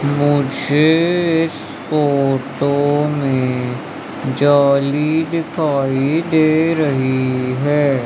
मुझे इस फोटो में जाली दिखाई दे रही है।